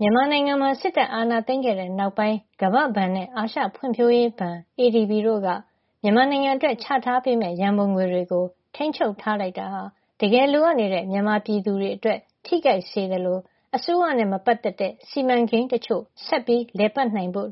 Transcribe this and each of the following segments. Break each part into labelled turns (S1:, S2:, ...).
S1: မြန်မာနိုင်ငံမှာ စစ်တပ်အာဏာသိမ်းခဲ့တဲ့နောက်ပိုင်း ကမ္ဘာ့ဘဏ်နဲ့ အာရှဖွံ့ဖြိုးရေးဘဏ် ADB တို့က မြန်မာနိုင်ငံအတွက် ချထားပေးမယ့် ရံပုံငွေတွေကို ထိန်းချုပ်ထားလိုက်တာဟာ တကယ်လိုအပ်နေတဲ့ မြန်မာပြည်သူတွေ အတွက် ထိခိုက်စေသလို အစိုးရနဲ့မပတ်သက်တဲ့ စီမံကိန်းတချို့ ဆက်ပြီး လည်ပတ်နိုင်ဖို့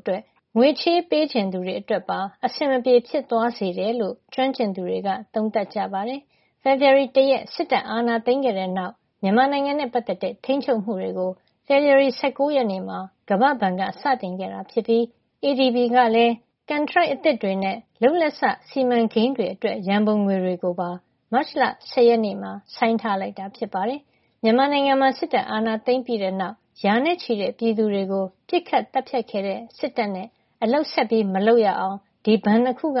S1: ငွေပေးချေးချင်သူတွေအတွက်ပါ အဆင်မပြေဖြစ်သွားစေတယ်လို့ ကျွမ်းကျင်သူတွေက သုံးသပ်ပါတယ်။ ဖေဖေါ်ဝါရီ (၁) ရက် စစ်တပ်အာဏာသိမ်းခဲ့တဲ့နောက် မြန်မာနိုင်ငံနဲ့ပတ်သက်တဲ့ ထိန်းချုပ်မှုတွေကို ဖေဖေါ်ဝါရီ ၁၉ ရက်နေ့မှာ ကမ္ဘာ့ဘဏ်က စတင်ခဲ့တာ ဖြစ်ပြီး ADB ကလည်း ကန်ထရိုက်အသစ်တွေနဲ့ လုပ်လက်စ စီမံကိန်းတွေအတွက် ရံပုံငွေတွေကိုပါ မတ်လ ၁၀ ရက်နေ့မှာ ဆိုင်းထားလိုက်တာပါ။ မြန်မာနိုင်ငံမှာ စစ်အာဏာသိမ်းပြီးတဲ့နောက် ရာနဲ့ချီတဲ့ ပြည်သူတွေကို ပစ်ခတ်သတ်ဖြတ်ခဲ့တဲ့ စစ်တပ်နဲ့ အလုပ်ဆက်မလုပ်ရအောင် ဒီဘဏ် ၂ ခုက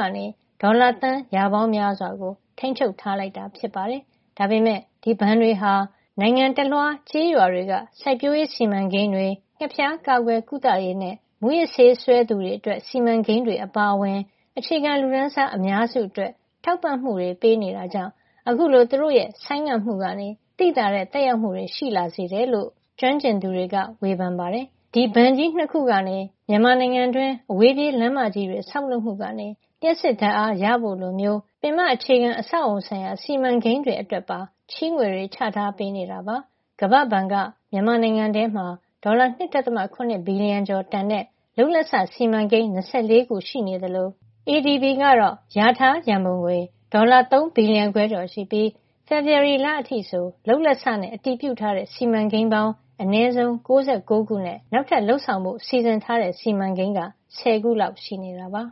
S1: ဒေါ်လာ သန်း- ရာပေါင်းများစွာကို ထိန်းချုပ်ထား လိုက်တာဖြစ်ပါတယ်။ ဒါပေမယ့် ဒီဘဏ်တွေဟာ နိုင်ငံတလွှား ကျေးရွာတွေက စိုက်ပျိုးရေးစီမံကိန်းတွေ၊ ငှက်ဖျားကာကွယ်ကုသရေးနဲ့ မူးယစ်ဆေးစွဲသူတွေအတွက် စီမံကိန်းအပါအဝင် အခြေခံလူတန်းစားအများစု အတွက် ထောက်ပံ့မှုတွေ ပေးနေတာကြောင့် အခုလို သူတို့ရဲ့ဆိုင်းငံ့မှုကနေ သိသာတဲ့ သက်ရောက်မှုတွေ ရှိလာစေတယ်လို့ ကျွမ်းကျင်သူတွေက ဝေဖန်ပါတယ်။ ဒီဘဏ်ကြီး ၂ ခုကနေ မြန်မာနိုင်ငံတွင်း အဝေးပြေးလမ်းမကြီးတွေ ဆောက်လုပ်မှု ကနေ လ ျှပ်စစ်ဓါတ်အားရဖို့ လိုမျိုး ပင်မအခြေခံအဆောက်အအုံဆိုင်ရာ စီမံကိန်းတွေ အတွက်ပါ ချေးငွေချထားပေးနေတာပါ။ ကမ္ဘာ့ဘဏ်က မြန်မာနိုင်ငံထဲမှာ ဒေါ်လာ၂.၇ ဘီလီယံကျော်တန်တဲ့ လုပ်လက်စ စီမံကိန်း ၂၄ ခုရှိ နေသလို ပိုက်လိုင်းစီမံကိန်း ၁၃ ခုလည်း ရှိနေပြီး ADB ကတော့ လျာထားရံပုံငွေ ဒေါ်လာ ၃ ဘီလီယံခွဲကျော် ရှိပြီး ဖေဖေါ်ဝါရီလ အထိဆို လုပ်လက်စနဲ့ အတည်ပြုထားတဲ့ စီမံကိန်းပေါင်း အနည်းဆုံး ၉ ၉ ခုနဲ့ နောက်ထပ် လုပ်ဆောင်ဖို့စီစဉ်ထားတဲ့ စီမံကိန်းက ၁၀ ခုလောက် ရှိနေပါ